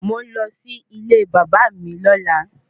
Mò ń lọ sí ilé bàbá à mi lọ́la